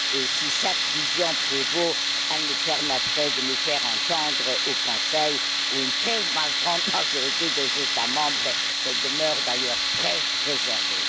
Si cette vision prévaut, elle nous permettrait de nous faire entendre du Conseil, où une très grande majorité des États membres demeurent d'ailleurs très réservés.